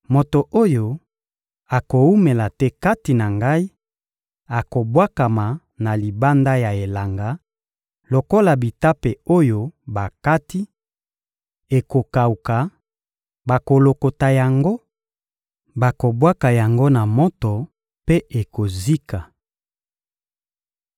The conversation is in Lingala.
Moto oyo akowumela te kati na Ngai akobwakama na libanda ya elanga, lokola bitape oyo bakati: ekokawuka, bakolokota yango, bakobwaka yango na moto mpe ekozika.